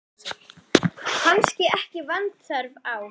Og kannski ekki vanþörf á.